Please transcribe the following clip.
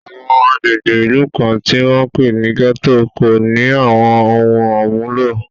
Àwọn agbègbè ìlú kan, tí wọ́n ń pè ní gẹ́tò, kò ní àwọn ohun àmúlò